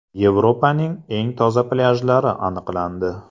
Yevropaning eng toza plyajlari aniqlandi.